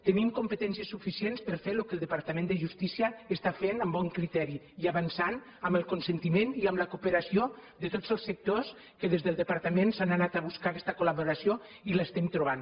tenim competències suficients per a fer el que el departament de justícia està fent amb bon criteri i avançant amb el consentiment i amb la cooperació de tots els sectors que des del departament s’ha anat a buscar aquesta col·laboració i l’estem trobant